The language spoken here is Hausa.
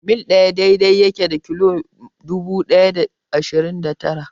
Mil ɗaya daidai yake da kilomita dubu ɗaya da ɗari shida da tara.